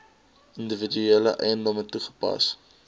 individuele eiendomme toegepas